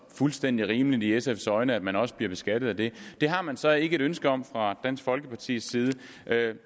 fuldstændig rimeligt i sfs øjne at man også bliver beskattet af det det har man så ikke et ønske om fra dansk folkepartis side